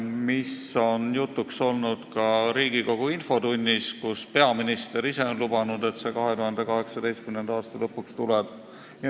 Teema on jutuks olnud ka Riigikogu infotunnis, kus peaminister ise on lubanud, et see asi 2018. aasta lõpuks tuleb.